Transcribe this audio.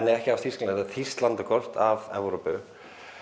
ekki af Þýskalandi þýskt landakort af Evrópu